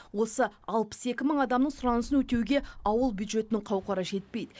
осы алпыс екі мың адамның сұранысын өтеуге ауыл бюджетінің қауқары жетпейді